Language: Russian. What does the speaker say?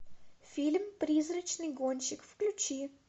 фильм призрачный гонщик включи